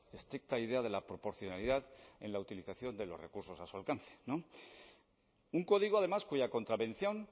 estricta idea de la proporcionalidad en la utilización de los recursos a su alcance no un código además cuya contravención